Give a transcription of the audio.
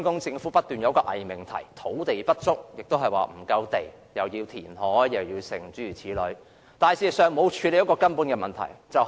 政府卻不斷提出偽命題，指土地不足，需要填海等，未有處理人口增長的根本問題。